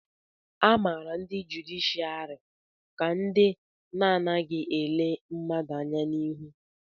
a mara ndị jụdịshịàrị ka ndị na-adịghị ele mmadụ anya n'ihu